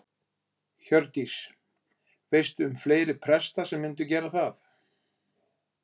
Hjördís: Veistu um fleiri presta sem myndu gera það?